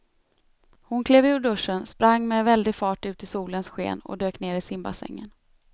Hon klev ur duschen, sprang med väldig fart ut i solens sken och dök ner i simbassängen.